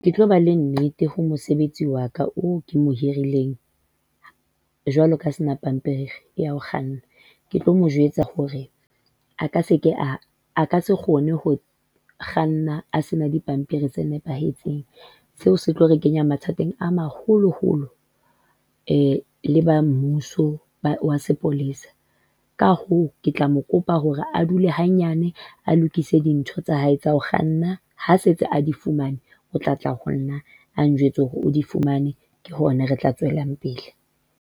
Ke tlo ba le nnete ho mosebetsi wa ka oo ke mo hirileng, jwalo kaha a sena pampiri ya ho kganna. Ke tlo mo jwetsa hore a ka seke a, a ka se kgone ho kganna a sena dipampiri tse nepahetseng. Seo se tlo re kenya mathateng a maholoholo le ba mmuso wa sepolesa. Ka hoo, ke tla mo kopa hore a dule hanyane, a lokise dintho tsa hae tsa ho kganna ha setse a di fumane, o tlatla honna a njwetse hore di fumane ke hona, re tla tswelang pele.